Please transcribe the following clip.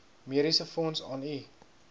mediesefonds aan u